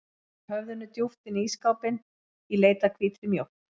Ég sting höfðinu djúpt inn í ísskápinn í leit að hvítri mjólk.